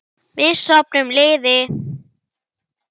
Við söfnum liði.